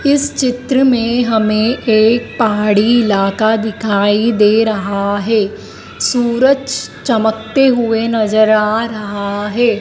इस चित्र में हमें एक पहाड़ी इलाका दिखाई दे रहा है सूरज चमकते हुए नजर आ रहा है।